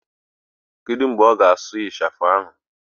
Kedu mgbe ọ ga-asụ ịchafụ ahụ?